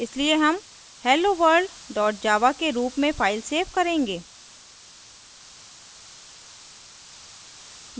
इसलिए हम helloworld dot java के रूप में फ़ाइल so करेंगे